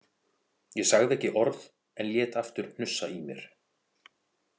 Ég sagði ekki orð en lét aftur hnussa í mér.